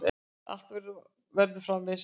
Að allt verður framvegis öðruvísi.